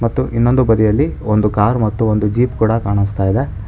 ಮತ್ತು ಇನ್ನೊಂದು ಬದಿಯಲ್ಲಿ ಒಂದು ಕಾರ್ ಮತ್ತು ಜೀಪ್ ಕೂಡ ಕಾಣಿಸ್ತಾ ಇದೆ.